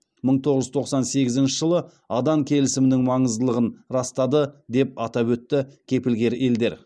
мың тоғыз жүз тоқсан сегізінші жылғы адан келісімінің маңыздылығын растады деп атап өтті кепілгер елдер